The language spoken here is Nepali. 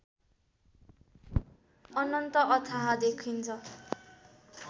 अनन्त अथाह देखिन्छ